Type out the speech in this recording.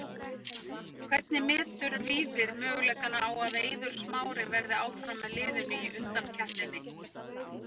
Hvernig metur Víðir möguleikana á að Eiður Smári verði áfram með liðinu í undankeppninni?